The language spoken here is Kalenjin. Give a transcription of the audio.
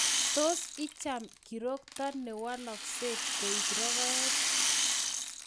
Tos icham kirokto ne walaksei koek rokoet?